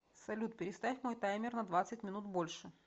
салют переставь мой таймер на двадцать минут больше